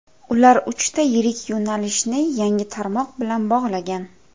Ular uchta yirik yo‘nalishni yangi tarmoq bilan bog‘lagan.